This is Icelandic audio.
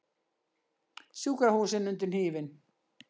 Sjúkrahúsin undir hnífinn